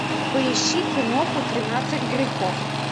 поищи киноху тринадцать грехов